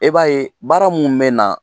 E b'a ye baara min bɛ na